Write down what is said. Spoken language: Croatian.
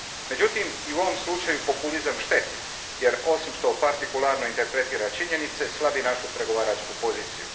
Međutim, i u ovom slučaju populizam šteti jer osim što partikularno interpretira činjenice, slabi našu pregovaračku poziciju.